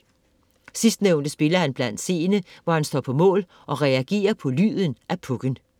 Sidstnævnte spiller han blandt seende, hvor han står på mål og reagerer på lyden af puck'en.